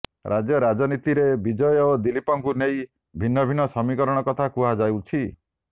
ରାଜ୍ୟ ରାଜନୀତିରେ ବିଜୟ ଓ ଦିଲ୍ଲୀପଙ୍କୁ ନେଇ ଭିନ୍ନ ଭିନ୍ନ ସମୀକରଣ କଥା କୁହାଯାଉଛି